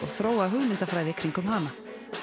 og þróa hugmyndafræði í kringum hana